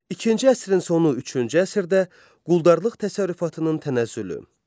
İkinci əsrin sonu üçüncü əsrdə quldarlıq təsərrüfatının tənəzzülü.